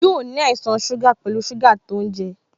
Yóò ní àìsàn ito suga pẹlu sugar to ń lo